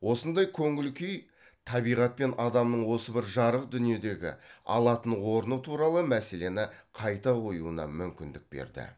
осындай көңіл күй табиғат пен адамның осы бір жарық дүниедегі алатын орны туралы мәселені қайта қоюына мүмкіндік берді